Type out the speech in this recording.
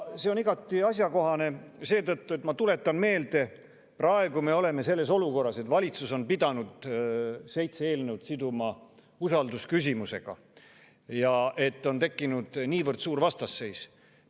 See on igati asjakohane seetõttu, ma tuletan meelde, et praegu me oleme olukorras, kus valitsus on pidanud seitse eelnõu siduma usaldusküsimusega, ja on tekkinud niivõrd suur vastasseis.